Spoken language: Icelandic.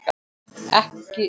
Ekki sem slíkt.